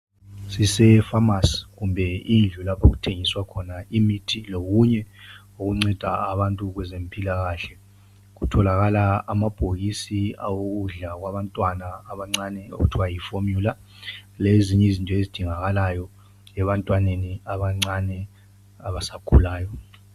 Sisefamasi kumbe indlu lapho okuthengiswa khona imithi lokunye okunceda abantu kwezempilakahle kutholakala amabhokisi awokudla kwabantwana abancane okuthiwa yi formula lezinye izinto ezidingakalayo ebantwaneni abancane abasakhulayo.